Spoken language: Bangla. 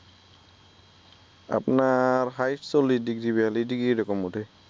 আপনার হায়েস্ট চল্লিশ ডিগ্রী বেয়াল্লিশ ডিগ্রী এরকম উঠে